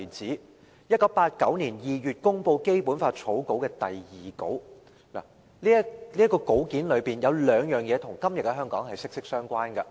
在1989年2月公布的《基本法》草稿的第二稿，當中有兩件事與今天的香港息息相關。